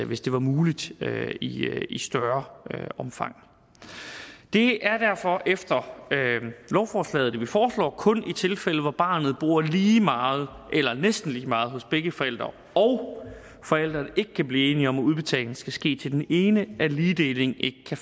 hvis det var muligt i i større omfang det er derfor efter lovforslaget som vi foreslår kun i tilfælde hvor barnet bor lige meget eller næsten lige meget hos begge forældre og forældrene ikke kan blive enige om at udbetalingen skal ske til den ene at ligedeling ikke kan